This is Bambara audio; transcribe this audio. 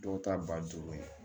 Dɔw ta ba duuru ye